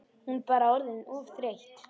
Hún bara orðin of þreytt.